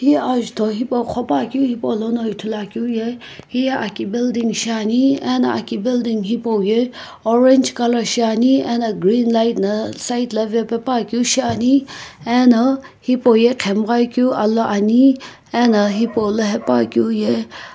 he ajutho hepou ghopakeu hipolono ithulu akeu ye heye eki building shiane ana aki hipou ye orange colour shiane ano green light na side lae vapas pashiane.